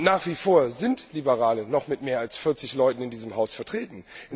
Nach wie vor sind Liberale noch mit mehr als 40 Leuten in diesem Haus vertreten.